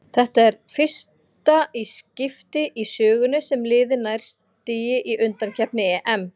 Þetta er fyrsta í skipti í sögunni sem liðið nær stigi í undankeppni EM.